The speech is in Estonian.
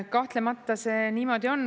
Kahtlemata see niimoodi on.